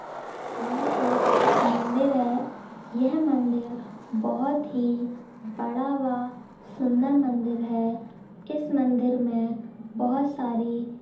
यह एक मंदिर है यह मंदिर बहोत ही बड़ा वा सुंदर मंदिर है इस मंदिर मे बहोत सारी --